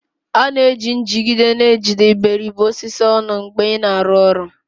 A na-eji njigide na-ejide iberibe osisi ọnụ mgbe ị na-arụ ọrụ